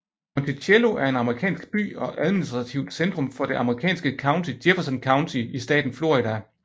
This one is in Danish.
Monticello er en amerikansk by og administrativt centrum for det amerikanske county Jefferson County i staten Florida